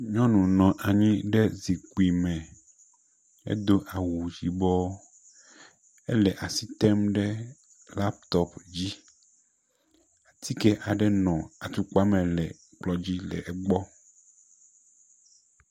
Nyɔnu nɔ anyi ɖe zikpui me, edo awu yibɔ, ele asi tem ɖe laptɔp dzi. Atike aɖe nɔ atukpa le kplɔ dzi le egbɔ.